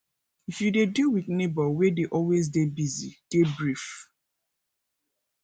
if you dey deal with neigbour wey dey always dey busy dey brief